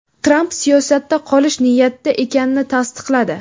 Tramp siyosatda qolish niyatida ekanini tasdiqladi.